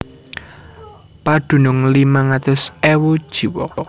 Padunung limang atus ewu jiwa